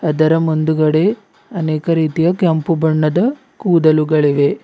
ಅದರ ಮುಂದ್ಗಡೆ ಅನೇಕ ರೀತಿಯ ಕೆಂಪು ಬಣ್ಣದ ಕೂದಲುಗಳಿವೆ.